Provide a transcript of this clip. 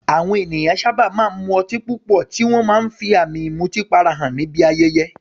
Àwọn ènìyàn sábà máa ń mu ọtí púpọ̀, tí wọ́n máa ń fi àmì ìmutípara hàn níbi ayẹyẹ.